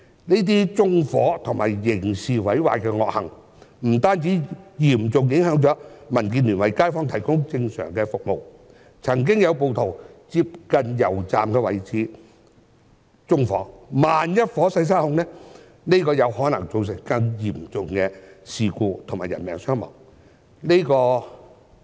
這些縱火和刑事毀壞的惡行，不單嚴重影響了民建聯為街坊提供正常的服務，更曾經有暴徒在接近油站的位置縱火，萬一火勢失控，便有可能造成更嚴重的事故及人命傷亡。